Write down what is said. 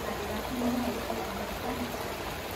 Waxa dhibaato naga haysata helitaanka sonkorta.